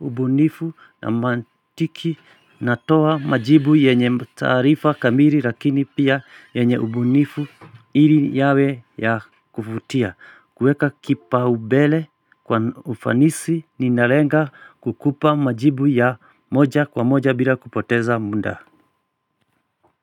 ubunifu na mantiki na toa majibu yenye taarifa kamili lakini pia yenye ubunifu ili yawe ya kuvutia kueka kipa ubele kwa ufanisi ninalenga kukupa majibu ya moja kwa moja bila kupoteza muda.